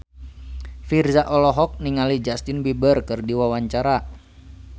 Virzha olohok ningali Justin Beiber keur diwawancara